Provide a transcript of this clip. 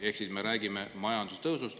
Ehk siis me räägime majanduse tõusust.